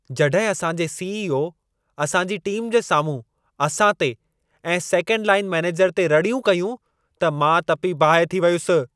जॾहिं असां जे सी.ई.ओ. असां जी टीम जे साम्हूं असां ते ऐं सेकंड लाइन मैनेजर ते रड़ियूं कयूं, त मां तपी बाहि थी वियुसि।